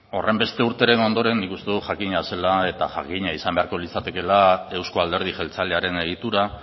horrenbeste urteren ondoren nik uste nuen jakina zela eta jakina izan beharko litzatekela euzko alderdi jeltzalearen egitura